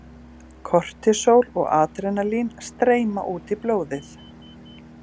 Kortisól og adrenalín streyma út í blóðið.